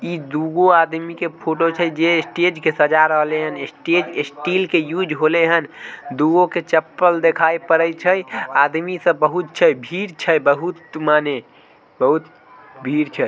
ई दूगो आदमी के फोटो छै जे स्टेज के सजा रहलै हन स्टेज स्टील के यूज़ होले हन। दूगो के चप्पल दिखाई पड़ई छई आदमी सब बहुत छै भीड़ छै बहुत माने बहुत भीड़ छै।